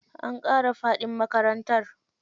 An ƙara faɗin makarantar.